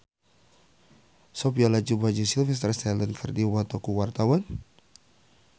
Sophia Latjuba jeung Sylvester Stallone keur dipoto ku wartawan